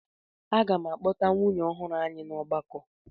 Aga m akpọta nwunye ọhụrụ anyị na ọgbakọ.